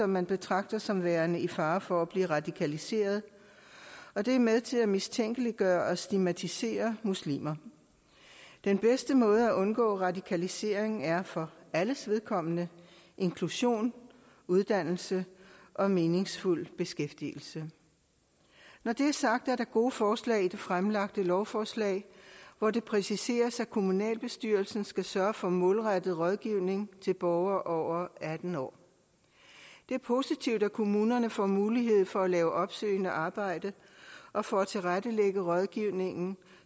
man betragter som værende i fare for at blive radikaliseret og det er med til at mistænkeliggøre og stigmatisere muslimer den bedste måde at undgå radikalisering på er for alles vedkommende inklusion uddannelse og meningsfuld beskæftigelse når det er sagt er der gode forslag i det fremsatte lovforslag hvor det præciseres at kommunalbestyrelsen skal sørge for målrettet rådgivning til borgere over atten år det er positivt at kommunerne får mulighed for at lave opsøgende arbejde og for at tilrettelægge rådgivningen